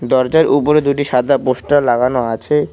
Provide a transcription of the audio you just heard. দরজার উপরে দুইটি সাদা পোস্টার লাগানো আছে।